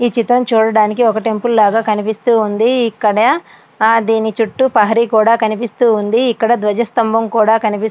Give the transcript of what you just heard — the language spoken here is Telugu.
ఈ చిత్రము చూడడానికి ఒక టెంపుల్ లాగా కనిపిస్తూ ఉంది. ఇక్కడ దీని చుట్టూ ప్రహరీ కూడా కనిపిస్తూ ఉంది ఇక్కడ ధ్వజస్తంభం కూడా కనిపిస్తూ .